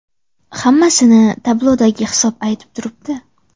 Hammasini tablodagi hisob aytib turibdi.